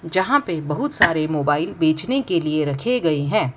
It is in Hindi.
यहां पे बहुत सारे मोबाइल बेचने के लिए रखे गए हैं।